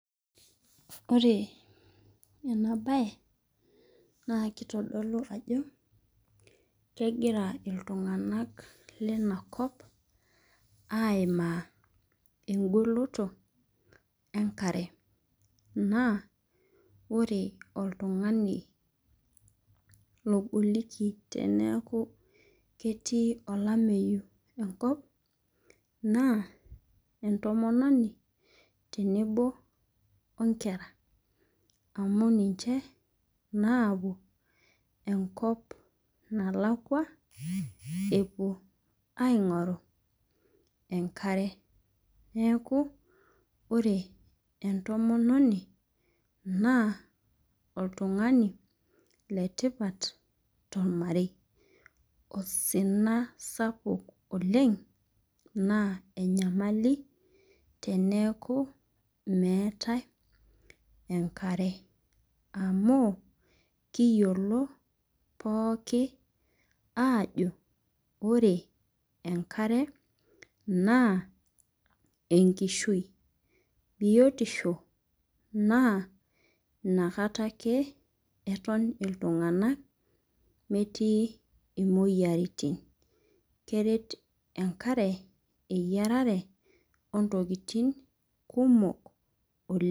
Ore ena baye naa kitodolu ajo kegira iltung'anak lena kop aimaa eng'oloto enkare naa ore oltung'ani logoliki teneeku ketii olameyu enkop naa entomononi tenebo oo nkera amu ninche naapuo enkop nalakua epuo aing'oru enkare. Neeku ore entomononi naa oltung'ani le tipat tormarei, osina sapuk oleng' naa enyamali teneeku meetai enkare amu kiyiolo pookin aajo ore enkare naa enkishui, biotisho naa ina kata ake eton iltung'anak metii imoyiaritin, keret enkare eyiarare oo ntoktin kumok oleng'.